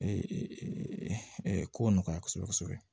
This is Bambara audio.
ko nɔgɔya kosɛbɛ